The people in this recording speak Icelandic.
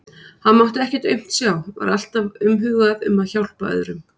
Hann mátti ekkert aumt sjá, var alltaf umhugað um að hjálpa öðrum.